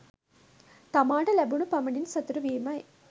තමාට ලැබුණු පමණින් සතුටු වීමයි.